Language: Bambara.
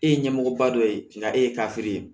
E ye ɲɛmɔgɔba dɔ ye nka e ye ye